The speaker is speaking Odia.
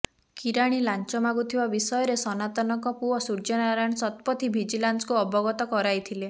କିରାଣୀ ଲାଂଚ ମାଗୁଥିବା ବିଷୟରେ ସନାତନଙ୍କ ପୁଅ ସୂର୍ଯ୍ୟ ନାରାୟଣ ସତପଥୀ ଭିଜିଲାନ୍ସକୁ ଅବଗତ କରାଇଥିଲେ